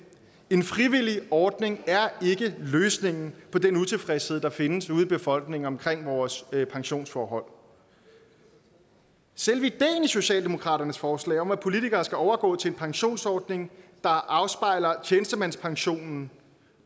en frivillig ordning er ikke løsningen på den utilfredshed der findes ude i befolkningen omkring vores pensionsforhold selve ideen i socialdemokratiets forslag om at politikere skal overgå til en pensionsordning der afspejler tjenestemandspensionen